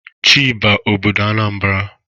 Chiba obodo Anambra!